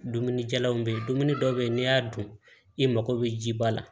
Dumunijalanw be yen dumuni dɔw be ye n'i y'a dun i mago be ji ba la